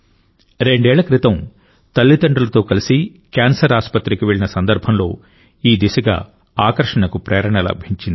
రెండేళ్ల క్రితం తల్లిదండ్రులతో కలిసి క్యాన్సర్ ఆస్పత్రికి వెళ్లిన సందర్భంలో ఈ దిశగా ఆకర్షణకు ప్రేరణ లభించింది